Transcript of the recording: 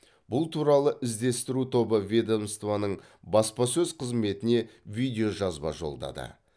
бұл туралы іздестіру тобы ведомствоның баспасөз қызметіне видеожазба жолдады